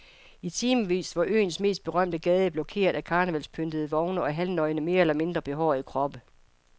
I timevis var øens mest berømte gade blokeret af karnevalspyntede vogne og halvnøgne mere eller mindre behårede kroppe.